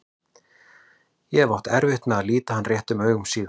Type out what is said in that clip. Ég hef átt erfitt með að líta hann réttum augum síðan.